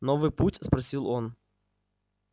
новый путь спросил он